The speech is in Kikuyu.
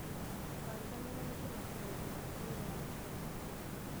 Ndũkariganĩrwo nĩ kũmakĩra ũgima wa mwĩrĩ wa maitho maku